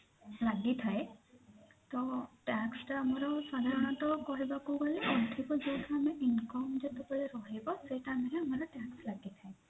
ଲାଗି ଥାଏ ତ tax ଟା ଆମର ସାଧାରଣତ କହିବାକୁ ଗଲେ ଅଧିକ ଯୋଉ ଆମେ income ଯେତେବେଳେ ରହିବ ସେଇ time ରେ ଆମର tax ଲାଗିଥାଏ